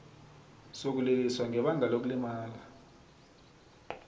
sokuliliswa ngebanga lokulimala